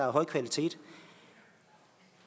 af høj kvalitet